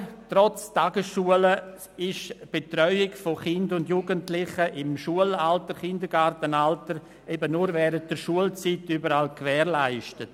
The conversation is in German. Aber trotz Tagesschule ist die Betreuung von Kindern und Jugendlichen im Schul- und Kindergartenalter nur während der Schulzeit überall gewährleistet.